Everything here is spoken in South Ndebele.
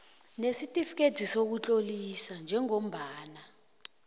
nesitifikeyiti sokutlolisa njengombana